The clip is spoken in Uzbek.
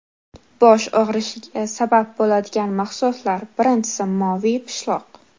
Bosh og‘rishiga sabab bo‘ladigan mahsulotlar Birinchisi moviy pishloq .